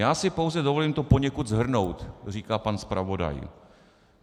"Já si pouze dovolím to poněkud shrnout," říká pan zpravodaj.